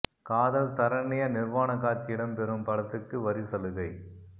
காதல் சரண்யா நிர்வாண காட்சி இடம் பெறும் படத்துக்கு வரி சலுகை